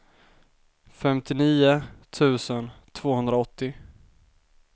femtionio tusen tvåhundraåttio